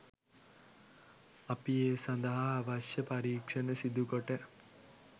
අපි ඒ සඳහා අවශ්‍ය පරීක්ෂණ සිදුකොට